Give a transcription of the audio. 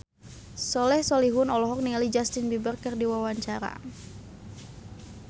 Soleh Solihun olohok ningali Justin Beiber keur diwawancara